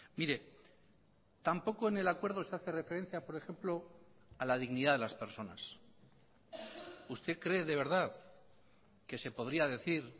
mire tampoco en el acuerdo se hace referencia por ejemplo a la dignidad de las personas usted cree de verdad que se podría decir